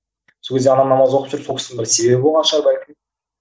сол кезде анам намаз оқып жүріп сол кісінің бір себебі болған шығар бәлкім